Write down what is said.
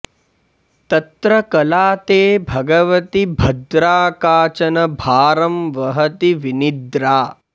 तत्र कला ते भगवति भद्रा काचन भारं वहति विनिद्रा